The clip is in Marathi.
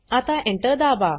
आता Enter दाबा